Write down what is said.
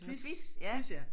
Quiz quiz ja